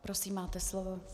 Prosím, máte slovo.